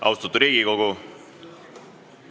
Austatud Riigikogu!